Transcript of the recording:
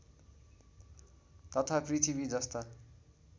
तथा पृथ्वी जस्ता